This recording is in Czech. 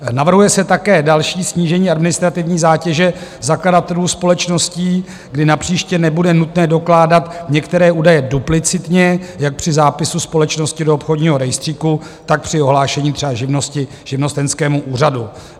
Navrhuje se také další snížení administrativní zátěže zakladatelů společností, kdy napříště nebude nutné dokládat některé údaje duplicitně jak při zápisu společnosti do obchodního rejstříku, tak při ohlášení třeba živnosti živnostenskému úřadu.